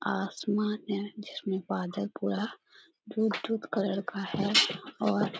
आसमान है जिसमें बादल पूरा दूध दूध कलर का है और--